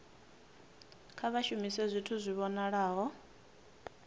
kha vha shumise zwithu zwi vhonalaho